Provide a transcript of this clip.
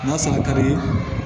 N'a san ka di